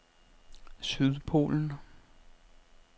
Sydpolen